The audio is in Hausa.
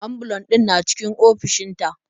Ambulan ɗin na cikin ofishin ta.